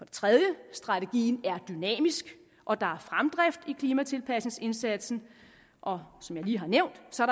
tredje strategien er dynamisk og der er fremdrift i klimatilpasningsindsatsen og som jeg lige har nævnt så